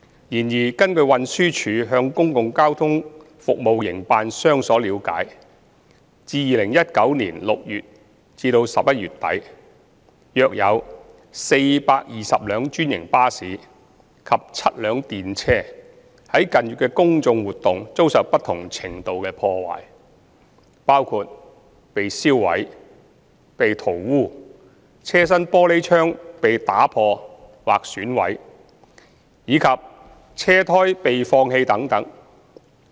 然而，根據運輸署向公共交通服務營辦商所了解，自2019年6月至11月底，約有420輛專營巴士及7輛電車在近月的公眾活動遭受不同程度的破壞，包括被燒毀、被塗污、車身玻璃窗被打破或損毀，以及車胎被放氣等。